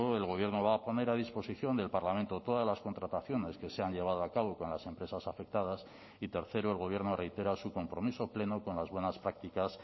el gobierno va a poner a disposición del parlamento todas las contrataciones que se han llevado a cabo con las empresas afectadas y tercero el gobierno reitera su compromiso pleno con las buenas prácticas